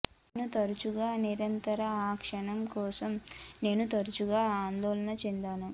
నా తరచుగా నిరంతర ఆకర్షణ కోసం నేను తరచుగా ఆందోళన చెందాను